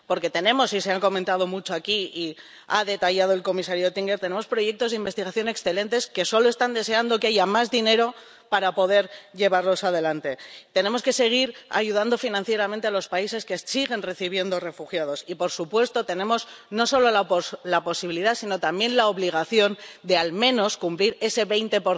Porque tenemos —y se han comentado mucho aquí y los ha detallado el comisario Oettinger— proyectos de investigación excelentes para los que solo se está deseando que haya más dinero para poder llevarlos adelante. Tenemos que seguir ayudando financieramente a los países que siguen recibiendo refugiados y, por supuesto, tenemos no solo la posibilidad, sino también la obligación de, al menos, cumplir ese 20